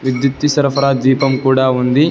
విద్యుతి సరఫరా దీపం కూడా ఉండి.